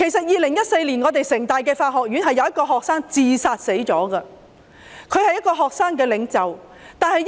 2014年，香港城市大學法學院有一位學生自殺身亡，他是一位學生領袖。